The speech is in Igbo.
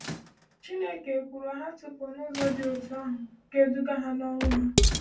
“Chineke ekwuru ha tupu na ụzọ dị otú ahụ ga-eduga n’ọnwụ ha.”